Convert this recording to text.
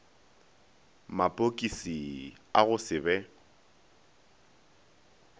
mapokisi a go se be